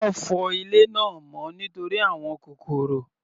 Wọ́n fọ ilé náà mọ́ nítorí àwọn kòkòrò.